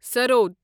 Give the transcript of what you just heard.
سرود